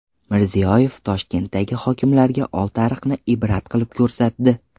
Mirziyoyev Toshkentdagi hokimlarga Oltiariqni ibrat qilib ko‘rsatdi.